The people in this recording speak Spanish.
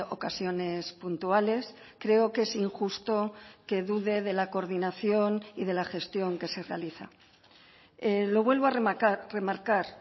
ocasiones puntuales creo que es injusto que dude de la coordinación y de la gestión que se realiza lo vuelvo a remarcar